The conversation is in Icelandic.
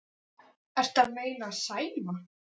Ertu að meina Sæma?